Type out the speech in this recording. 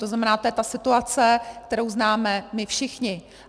To znamená, to je ta situace, kterou známe my všichni.